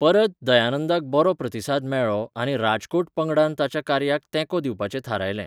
परत, दयानंदाक बरो प्रतिसाद मेळ्ळो आनी राजकोट पंगडान ताच्या कार्याक तेंको दिवपाचें थारायलें.